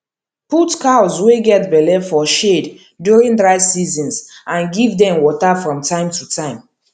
put cows wey get belle for shade during dry seasons and give dem water from time to time